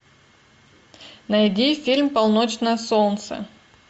найди фильм полночное солнце